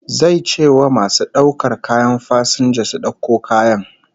Zai ce wa masu daukar kayan fasinja su dauko kayan